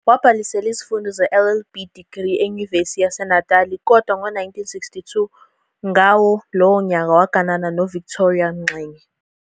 Wabhalisela izifundo ze-LLB degree eNyuvesi yaseNatali kodwa ngo-1962, ngawo lowo nyaka waganana noVictoria Mxenge.